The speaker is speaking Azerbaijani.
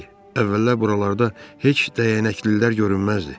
Əvvəllər buralarda heç dəyənəklilər görünməzdi.